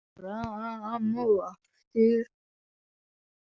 Fram og aftur.